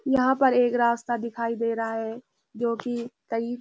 यहाँ पर एक रास्ता दिखाई दे रहा है जो कि कई --